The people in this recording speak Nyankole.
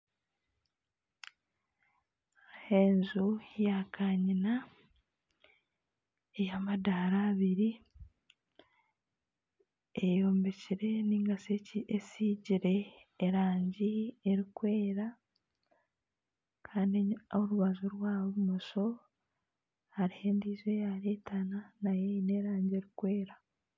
Enju ya kanyina ey'amadaara abiri eyombikire narishi esigire erangi erikwera, kandi oruba rwa bumosho hariho endiijo eyareetana nayo eine erangi erikwera